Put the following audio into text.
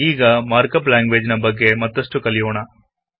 ಈಗ markup language ನ ಬಗ್ಗೆ ಮತ್ತಷ್ಟು ಕಲಿಯೋಣ